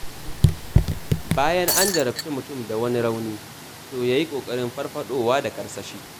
Bayan an jarabci mutum da wani rauni, to ya yi ƙoƙarin farfaɗowa da karsashi.